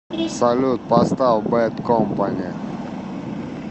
салют поставь бэд компани